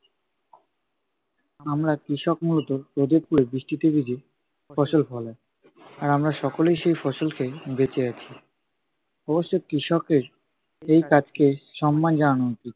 আমরা কৃষক মূলত রোদে পুড়ে, বৃষ্টিতে ভিজে ফসল ফলাই। আর আমরা সকলেই সেই ফসল খেয়ে বেঁচে আছি। অবশ্যই কৃষকের এই কাজকে সম্মান জানানো উচিত।